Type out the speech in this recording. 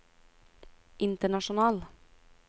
international